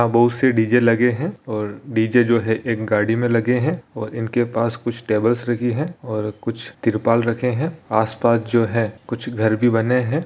बहुत से डी.जे. लगे है और डी.जे जो है एक गाड़ी में लगे है और इनके पास कुछ टेबलस लगी है और कुछ तिरपाल रखे है आस-पास जो है कुछ घर भी बने है।